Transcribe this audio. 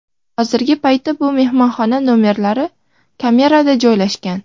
Hozirgi paytda bu mehmonxona nomerlari kameralarda joylashgan.